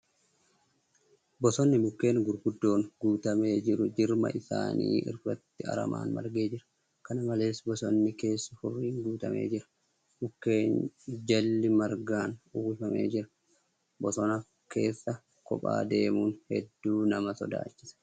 Bosonnni mukkeen gurguddoon guutamee jiru jirma isaanii irratti aramaan margee jira. Kana malees, bosonni keessi hurriin guutamee jira. Mukkeen jalli margaan uwwifamee jira. Bosona keessa kophaa deemuun heduu nama sodaachisa.